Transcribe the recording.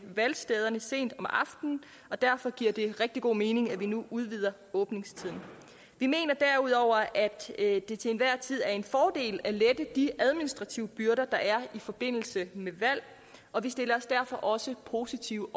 valgstederne sent om aftenen og derfor giver det rigtig god mening at vi nu udvider åbningstiden vi mener derudover at det til enhver tid er en fordel at lette de administrative byrder der er i forbindelse med valg og vi stiller os derfor også positivt